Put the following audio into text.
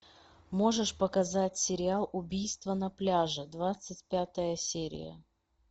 можешь показать сериал убийство на пляже двадцать пятая серия